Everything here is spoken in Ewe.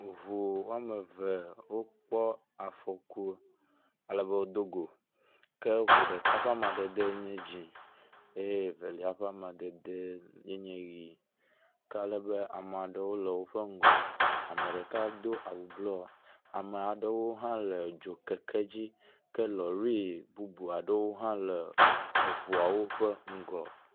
Ŋu wɔme eve wokpɔ afɔku ale be wodogo ke ŋu ɖeka ƒe amadede ye nye dzi eye Evelia ƒe amadede yeneye ʋi ke ale be ame aɖewo wo le woƒe ŋgɔ. Ame ɖeka do awu blɔ ame aɖewo hã le dzokeke dzi ke lɔɖi bubu aɖewo hã le eŋuawo ƒe ŋgɔ.